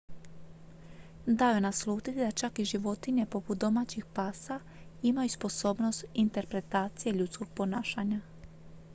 dao je naslutiti da čak i životinje poput domaćih pasa imaju sposobnost interpretacije ljudskog ponašanja